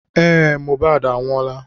Ee Mohbad anwụola.